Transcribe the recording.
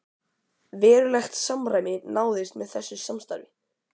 Verulegt samræmi náðist með þessu samstarfi.